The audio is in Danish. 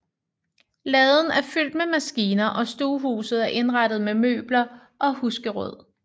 Laden er fyldt med maskiner og stuehuset er indrettet med møbler og husgeråd